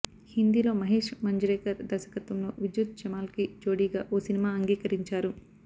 హిందీలో మహేశ్ మంజ్రేకర్ దర్శకత్వంలో విద్యుత్ జమాల్కి జోడీగా ఓ సినిమా అంగీకరించారు